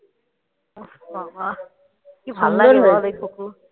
উফফ বাবা কি ভালো লাগে বল দেখতে